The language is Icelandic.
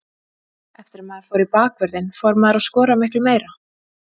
Eftir að maður fór í bakvörðinn fór maður að skora miklu meira.